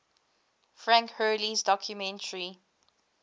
frank hurley's documentary